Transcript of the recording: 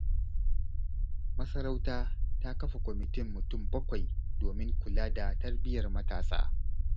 Masarauta ta kafa kwamitin mutum bakwai domin kula da tarbiyyar matasa.